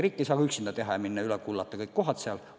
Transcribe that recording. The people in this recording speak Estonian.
Riik ei saa üksinda minna ja üle kullata kõik maakohad.